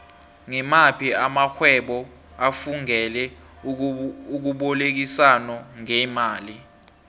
ngimaphi amaxhhwebo afungele ukubolekisano ngemali